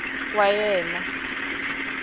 wa yena a nga swi